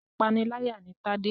Apániláyà ni Tade.